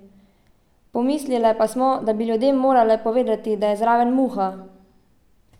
Pomislile pa smo, da bi ljudem morale povedati, da je zraven Muha.